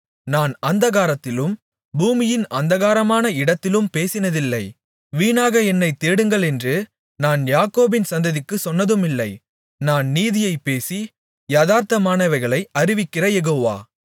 நான் அந்தரங்கத்திலும் பூமியின் அந்தகாரமான இடத்திலும் பேசினதில்லை வீணாக என்னைத் தேடுங்களென்று நான் யாக்கோபின் சந்ததிக்குச் சொன்னதுமில்லை நான் நீதியைப் பேசி யதார்த்தமானவைகளை அறிவிக்கிற யெகோவா